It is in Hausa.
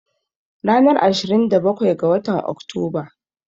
Ranar Ashirin da bakwai ga watan Oktoba.